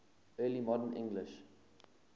early modern english